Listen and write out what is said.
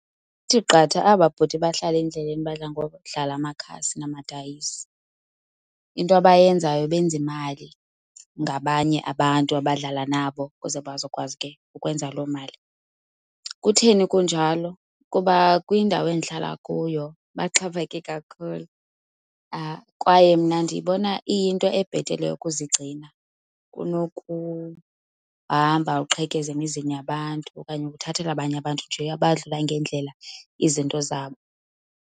Kuthi qatha aba bhuti bahlala endleleni badla ngokudlala amakhasi namadayisi. Into abayenzayo benza imali ngabanye abantu abadlala nabo ukuze bazokwazi ke ukwenza loo mali. Kutheni kunjalo? Kuba kwindawo endihlala kuyo baxhaphake kakhulu kwaye mna ndiyibona iyinto ebhetele ukuzigcina kunokuhamba uqhekeza emizini yabantu okanye ukuthathela abanye abantu nje abadlula ngendlela izinto zabo.